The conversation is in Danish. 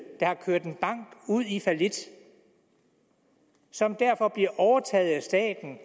der har kørt en bank ud i fallit så den derfor bliver overtaget af staten